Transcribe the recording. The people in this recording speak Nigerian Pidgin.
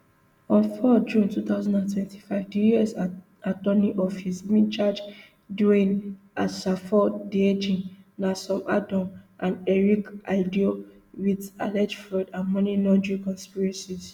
on four june two thousand and twenty-five di us attorney office bin charge dwayne asafo adjei nancy adom and eric aidoo wit alleged fraud and money laundering conspiracies